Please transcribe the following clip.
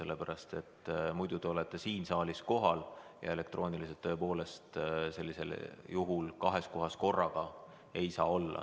Muidu te nagu olete siin saalis kohal ja osalete ka elektrooniliselt – tõepoolest, kahes kohas korraga ei saa olla.